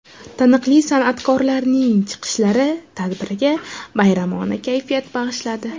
Taniqli san’atkorlarning chiqishlari tadbirga bayramona kayfiyat bag‘ishladi.